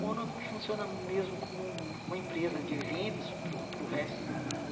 Mônaco funciona mesmo como uma empresa de eventos para o para o resto do mundo.